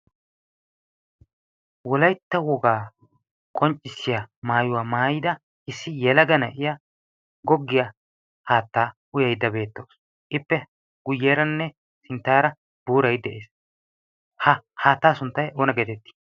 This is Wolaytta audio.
wolaytta wogaa qonccissiya maayuwaa maayida issi yelaga na'ay goggiyaa haattaa uyidi beettoosona. ippe guyyeeranne sinttaara buurai de'ees. ha haattaa sunttay oona geetettii?